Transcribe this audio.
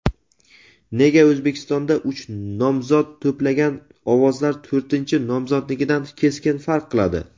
nega O‘zbekistonda uch nomzod to‘plagan ovozlar to‘rtinchi nomzodnikidan keskin farq qiladi?.